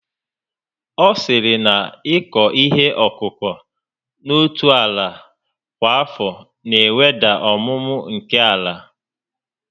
Ọ sịrị na ịkụ ihe ọkụkụ n'otu ala kwa afọ na eweda ọmụmụ nke ala